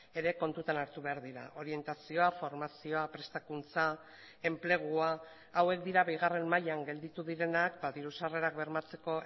ere kontutan hartu behar dira orientazioa formazioa prestakuntza enplegua hauek dira bigarren mailan gelditu direnak diru sarrerak bermatzeko